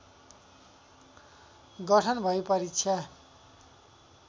गठन भई परीक्षा